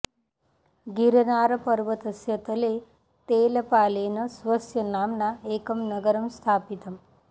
गिरनारपर्वतस्य तले तेलपालेन स्वस्य नाम्ना एकं नगरं स्थापितम्